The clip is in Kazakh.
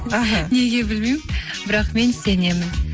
іхі неге білмеймін бірақ мен сенемін